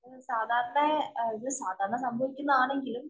അത് സാധാരണെ ഇത് സാധാരണ സംഭവിക്കുന്നതാണെങ്കിലും